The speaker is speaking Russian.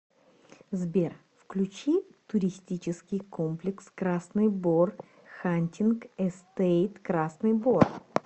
сбер включи туристический комплекс красный бор хантинг эстейт красный бор